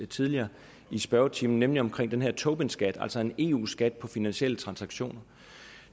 tidligere i spørgetimen nemlig omkring den her tobinskat altså en eu skat på finansielle transaktioner